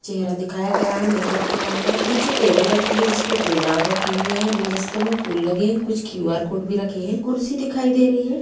चेहरा दिखाया गया है मेक-अप किया हुआ नीचे टेबल रखी है जिसपे गुलदान रखे हुए है गुलदस्ते में फूल लगे है कुछ क्यू.आर. कोड भी रखे है कुर्सी दिखाई दे रही है।